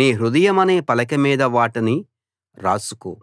నీ హృదయమనే పలక మీద వాటిని రాసుకో